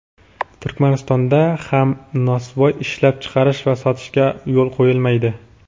Turkmaniston)da ham nosvoy ishlab chiqarish va sotishga yo‘l qo‘yilmaydi.